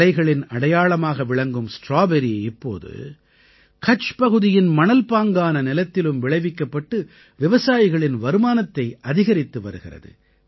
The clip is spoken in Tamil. மலைகளின் அடையாளமாக விளங்கும் ஸ்ட்ராபெர்ரி இப்போது கட்ச் பகுதியின் மணல்பாங்கான நிலத்திலும் விளைவிக்கப்பட்டு விவசாயிகளின் வருமானத்தை அதிகரித்து வருகிறது